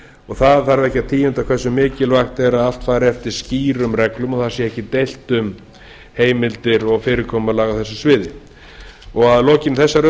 og það þarf ekki að tíunda hversu mikilvægt er að allt fram eftir skýrum reglum og það sé ekki deilt um heimildir og fyrirkomulag á þessu sviði að lokinni þessari